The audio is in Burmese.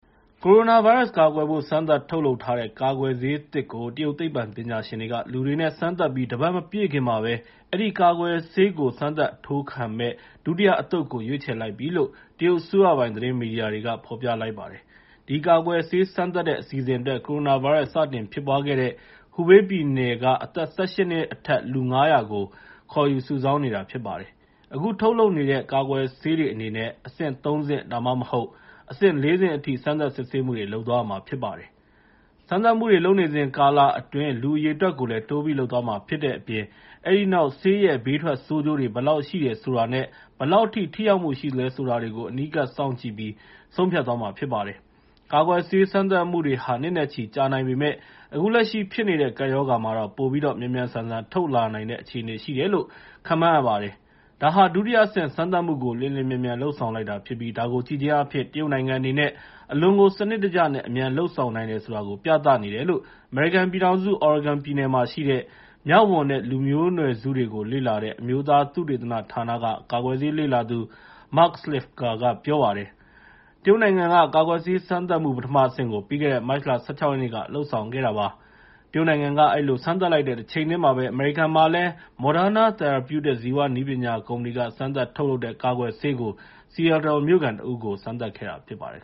ကိုရိုနာဗိုင်းရပ်စ်ကာကွယ်ဖို့ စမ်းသပ်ထုတ်လုပ်ထားတဲ့ ကာကွယ်ဆေးသစ်ကို တရုတ်သိပ္ပံပညာရှင်တွေက လူတွေနဲ့ စမ်းသပ်ပြီး တပတ်မပြည့်ခင်မှာပဲ အဲဒီကာကွယ်ဆေးကို စမ်းသပ်အထိုးခံမယ့် ဒုတိယတသုတ်ကို ရွေးချယ်လိုက်ပြီလို့ တရုတ်အစိုးရပိုင် သတင်းမီဒီယာ တွေကဖော်ပြလိုက်ပါတယ်။ ဒီကာကွယ်ဆေးစမ်းသပ်တဲ့ အစီအစဉ်အတွက် ကိုရိုနာဗိုင်းရပ်စ်စတင်ဖြစ်ပွားခဲ့တဲ့ ဟူဘေးပြည်နယ်ကအသက် ၁၈ နှစ်အထက် လူ ၅၀၀ ကို ခေါ်ယူစုဆောင်းနေတာဖြစ်ပါတယ်။ အခုထုတ်လုပ်နေတဲ့ ကာကွယ်ဆေးတွေအနေနဲ့ အဆင့် ၃ ဆင့် ဒါမှမဟုတ် ၄ ဆင့်အထိ စမ်းသပ်စစ်ဆေးမှုတွေ လုပ်သွားမှာရမှာဖြစ်ပါတယ်။ စမ်းသပ်မှုတွေလုပ်နေစဉ်ကာလအတွင်း လူအရေအတွက်ကိုလည်း တိုးပြီးလုပ်သွားမှာဖြစ်တဲ့အပြင် အဲဒီနောက် ဆေးရဲ့ ဘေးထွက် ဆိုးကျိုးတွေ ဘယ်လောက်ရှိတယ်ဆိုတာနဲ့ ဘယ်လောက်ထိရောက်မှု ရှိသလဲဆိုတာတွေကို အနီးကပ်စောင့်ကြည့်ပြီး ဆုံးဖြတ်သွားမှာ ဖြစ်ပါတယ်။ ကာကွယ်ဆေးစမ်းသပ်မှုတွေဟာ နှစ်နဲ့ချီကြာနိုင်ပေမယ့် အခုလက်ရှိဖြစ်နေတဲ့ ကပ်ရောဂါမှာတော့ ပိုပြီးတော့ မြန်မြန်ဆန်ဆန် ထုတ်လာနို်င်တဲ့ အခြေအနေရှိတယ်လို့ခန့်မှန်းရပါတယ်။ ဒါဟာ ဒုတိယအဆင့်စမ်းသပ်မှုကို လျင်လျင်မြန်မြန် လုပ်ဆောင်လိုက်တာဖြစ်ပြီး ဒါကိုကြည့်ခြင်းအားဖြင့် တရုတ်နိုင်ငံအနေနဲ့ အလွန်ကိုစနစ်တကျ နဲ့ အမြန်လုပ်ဆောင်နိုင်တယ်ဆိုတာကို ပြသနေတယ်လို့ အမေရိကန်ပြည်ထောင်စု Oregon ပြည်နယ်မှာရှိတဲ့ မျောက်ဝံနဲ့ လူမျိုးနွယ်စုတွေကို လေ့လာတဲ့ အမျိုးသား သုတေသနဌာနက ကာကွယ်ဆေးလေ့လာသူ Mark Slifka က ပြောပါတယ်။ တရုတ်နိုင်ငံက ကာကွယ်ဆေးစမ်းသပ်မှု ပထမအဆင့်ကို ပြီးခဲ့တဲ့ မတ်လ ၁၆ ရက်နေ့က လုပ်ဆောင်ခဲ့ပါတယ်။ တချိန်တည်းမှာပဲအမေရိကန်မှာလည်း Morderna Theraputics ဇီဝနည်းပညာကုမ္ပဏီက စမ်းသပ်ထုတ်လုပ်တဲ့ ကာကွယ်ဆေးကို Seattle မြို့ခံတဦး နဲ့ စမ်းသပ်ခဲ့တာဖြစ်ပါတယ်